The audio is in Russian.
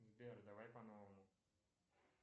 сбер давай по новому